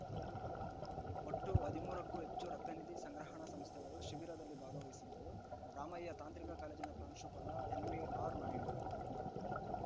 ಒಟ್ಟು ಹದಿಮೂರಕ್ಕೂ ಹೆಚ್ಚು ರಕ್ತನಿಧಿ ಸಂಗ್ರಹಣಾ ಸಂಸ್ಥೆಗಳು ಶಿಬಿರಲ್ಲಿ ಭಾಗವಹಿಸಿದ್ದವು ರಾಮಯ್ಯ ತಾಂತ್ರಿಕ ಕಾಲೇಜಿನ ಪ್ರಾಂಶುಪಾಲ ಎನ್‌ವಿಆರ್‌ ನಾಯ್ಡು